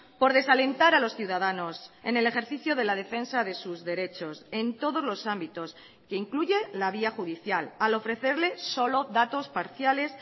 por desalentar a los ciudadanos en el ejercicio de la defensa de sus derechos en todos los ámbitos que incluye la vía judicial al ofrecerle solo datos parciales